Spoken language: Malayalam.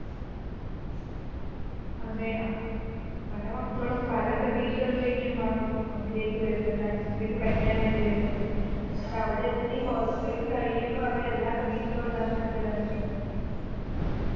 അതെ പല മക്കളും പല പ്രതീക്ഷകളിലേക്കും ആവും അതിലേക്ക് വരുന്നെ transorze ലേക്ക് പഠിക്കാൻ വേണ്ടി വരുന്നത് പക്ഷെ അവിടെ എത്തി കുറച്ച് കയ്യുമ്പോ അവരെല്ലാ പ്രതീക്ഷകളും നഷ്ടപ്പെടാണ് ചെയ്യുന്നത്